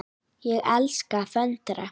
Ég elska að föndra.